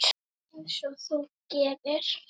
Einsog þú gerir?